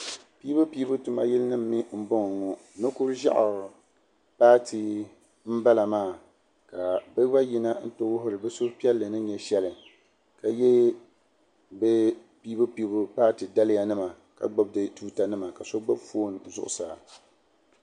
Piibu piibu tuma yili nima m boŋɔ nokuriʒaɣu paati m bala maa ka bɛ gba yina n ti wuhiri bɛ suhu piɛlli ni nyɛ sheli ka ye bɛ piibu piibu paati daliya mima kan gbibi di tuuta nima ka so gbibi fooni zuɣusaa.